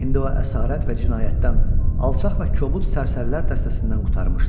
İndi o əsarət və cinayətdən, alçaq və kobud sərsərilər dəstəsindən qurtarmışdı.